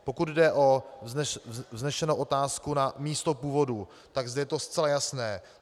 Pokud jde o vznesenou otázku na místo původu, tak zde je to zcela jasné.